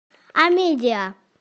амедиа